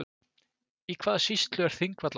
Í hvaða sýslu er Þingvallavatn?